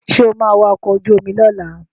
Sọ ma wa ọkọ̀ ojú omi lọ́la?